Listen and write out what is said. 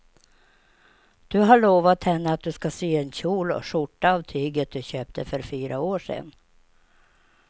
Du har lovat henne att du ska sy en kjol och skjorta av tyget du köpte för fyra år sedan.